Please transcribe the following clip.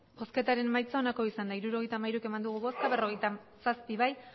emandako botoak hirurogeita hamairu bai berrogeita zazpi ez